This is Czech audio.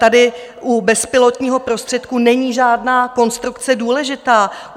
Tady u bezpilotního prostředku není žádná konstrukce důležitá.